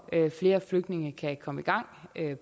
flere flygtninge kan komme i gang